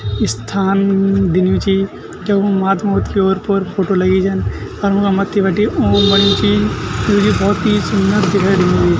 इस्थान दिन्यु चि क्य ऊ महात्मा बुद्ध की ओर पोर फोटो लगीं जन अर उका मथ्थी बटी ओम बण्यु ची जुकी भौत ही सुन्दर दिखे दिणु।